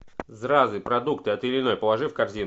зразы продукты от ильиной положи в корзину